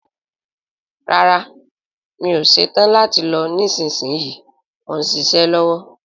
Rárá, mi ò ṣetán láti lọ nísinsìnyí, mò ń ṣiṣẹ́ lọ́wọ́